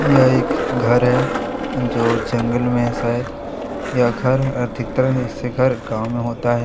यह एक घर है जो जंगल में है शायद यह घर अधिकतर ऐसे घर गावो में होता है।